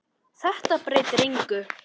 Þetta breytir engu.